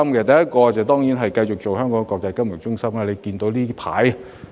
第一，當然是繼續發揮其國際金融中心的角色。